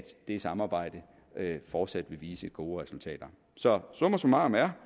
det samarbejde fortsat vil vise gode resultater så summa summarum er